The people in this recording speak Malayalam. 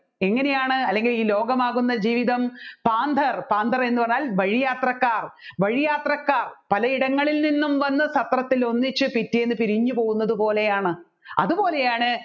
എങ്ങനെയാണ് അല്ലെങ്കിൽ ഈ ലോകമാകുന്ന ജീവിതം പാന്തർ പാന്തർ എന്ന് പറഞ്ഞാൽ വഴിയാത്രക്കാർ വഴിയാത്രക്കാർ പലയിടങ്ങളിൽ നിന്ന് വന്നു സത്രത്തിൽ ഒന്നിച്ച് പിറ്റേന്ന് പിരിഞ്ഞുപോവുന്നത് പോലെയാണ്